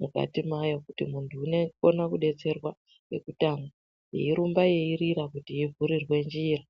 mukati mayo kuti muntu unokone kudetserwa kekutanga yeirumba yeirira yei vhurirwe njira.